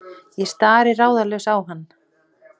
Ég stari ráðalaus á hann.